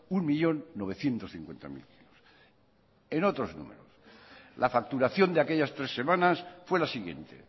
un millón novecientos cincuenta mil kilos en otros números la facturación de aquellas tres semanas fue la siguiente